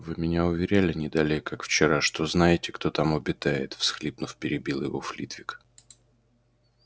вы меня уверяли не далее как вчера что знаете кто там обитает всхлипнув перебил его флитвик